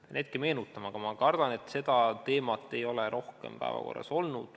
Pean hetke meenutama, aga ma kardan, et seda teemat ei ole rohkem päevakorras olnud.